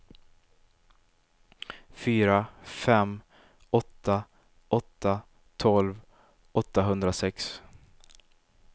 fyra fem åtta åtta tolv åttahundrasex